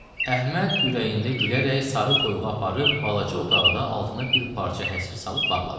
Əhməd ürəyində gülərək sarı toyuğu aparıb balaca otaqda altına bir parça həsir salıb bağladı.